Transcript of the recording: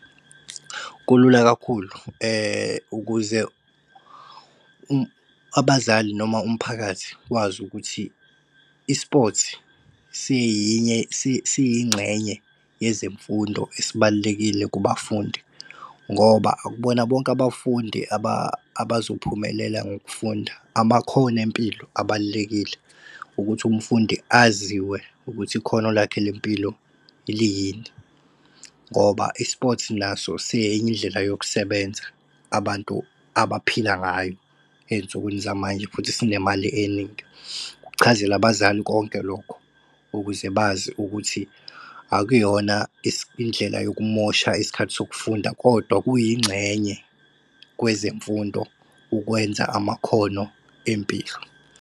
Kulula kakhulu ukuze abazali noma umphakathi wazi ukuthi i-sports siyingxenye yezemfundo esibalulekile kubafundi. Ngoba akubona bonke abafundi abazophumelela ngokufunda, abakhoni impilo abalulekile ukuthi umfundi aziwe ukuthi ikhona lakhe lempilo liyini. Ngoba i-sports naso siyenye indlela yokusebenza abantu abaphila ngayo ey'nsukwini zamanje futhi sinemali eningi. Kuchazele abazali konke lokho ukuze bazi ukuthi akuyona indlela yokumosha isikhathi sokufunda kodwa kuyingxenye kwezemfundo, ukwenza amakhono empilo.